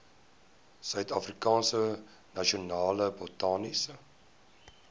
suidafrikaanse nasionale botaniese